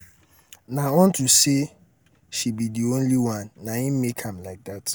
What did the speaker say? na unto say um she um be the only one na im make am like dat.